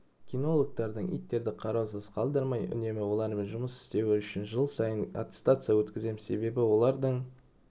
кинологтардың иттерді қараусыз қалдырмай үнемі олармен жұмыс істеуі үшін жыл сайын аттестация өткіземіз себебі олардың